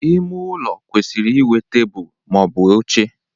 Ime ụlọ kwesịrị ịnwe tebụl ma ọ bụ oche